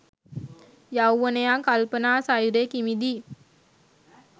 යෞවනයා කල්පනා සයුරේ කිමිදී